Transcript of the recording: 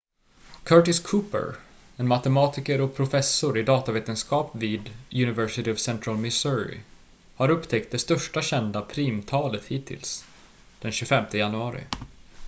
curtis cooper en matematiker och professor i datavetenskap vid university of central missouri har upptäckt det största kända primtalet hittills den 25 januari